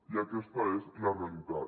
i aquesta és la realitat